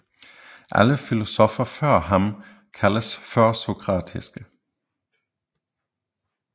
Alle filosoffer før ham kaldes førsokratiske